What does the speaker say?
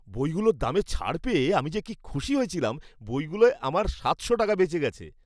বইগুলোর দামে ছাড় পেয়ে আমি যে কি খুশি হয়েছিলাম! বইগুলোয় আমার সাতশো টাকা বেঁচে গেছে।